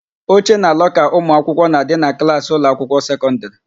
Oche na lọka ụmụakwụkwọ na-adị na klaasị ụlọakwụkwọ sekọndịrị.